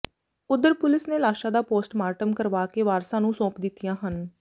ਉਧਰ ਪੁਲਿਸ ਨੇ ਲਾਸ਼ਾਂ ਦਾ ਪੋਸਟਮਾਰਟਮ ਕਰਵਾ ਕੇ ਵਾਰਸਾਂ ਨੂੰ ਸੌਂਪ ਦਿੱਤੀਆਂ ਹਨ